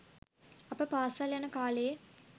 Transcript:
අප පාසල් යන කාලයේ